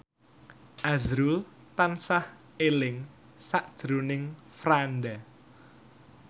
azrul tansah eling sakjroning Franda